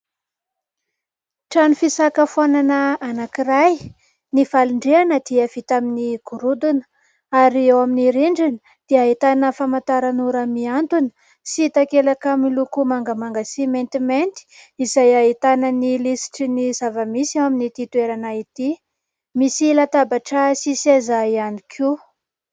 Trano fisakafoanana anankiray, ny valin-drihana dia vita amin'ny gorodona ary ao amin'ny rindrina dia ahitana famantaranora mihantona sy takelaka miloko mangamanga sy maintimainty izay ahitana ny lisitry ny zava-misy ao amin'ity toerana ity, misy latabatra sy seza ihany koa.